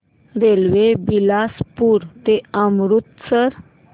railway Bilaspur ते अमृतसर